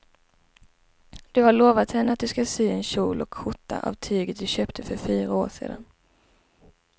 Du har lovat henne att du ska sy en kjol och skjorta av tyget du köpte för fyra år sedan.